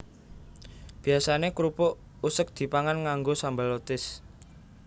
Biyasané krupuk useg dipangan nganggo sambel lotis